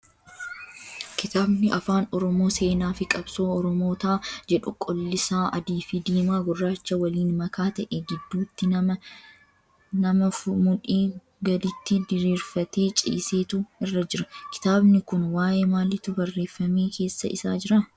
Kitaabni afaan oromoo seenaa fi qabsoo oromootaa jedhu qolliisaa adii, diimaa fi gurraacha waliin makaa ta'ee gidduutti nama mudhii gaditti diriirfatee ciisetu irra jira. Kitaabni kun waayee maaliitu barreeffamee keessa isaa jiraa?